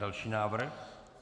Další návrh.